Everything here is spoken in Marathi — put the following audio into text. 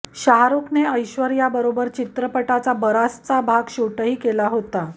शाहरुखने ऐश्वर्यासोबत चित्रपटाचा बराचसा भाग शूटही केला होता